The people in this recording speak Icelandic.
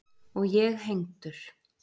Og ég hengdur.